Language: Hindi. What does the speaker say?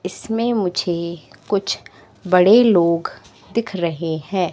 इसमें मुझे कुछ बड़े लोग दिख रहे हैं।